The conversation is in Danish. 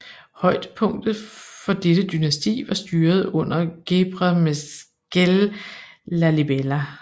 Højdepunktet for dette dynasti var styret under Gebre Mesqel Lalibela